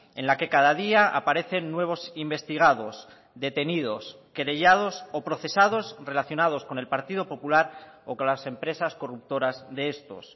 en la que cada día aparecen nuevos investigados detenidos querellados o procesados relacionados con el partido popular o con las empresas corruptoras de estos